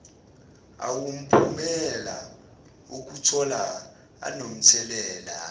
awumphumela wokutholwa anomthelela